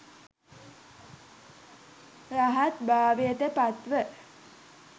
රහත් භාවයට පත්ව